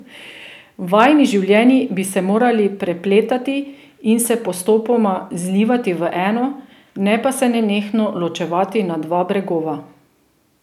Vajini življenji bi se morali prepletati in se postopoma zlivati v eno, ne pa se nenehno ločevati na dva bregova.